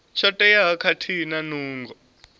tsho teaho khathihi na nungo